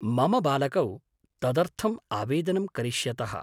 मम बालकौ तदर्थम् आवेदनं करिष्यतः।